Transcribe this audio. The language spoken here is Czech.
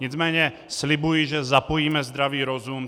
Nicméně slibuji, že zapojíme zdravý rozum.